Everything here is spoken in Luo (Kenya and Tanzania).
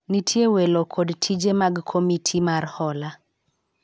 nitie welo kod tije mag komiti mar hola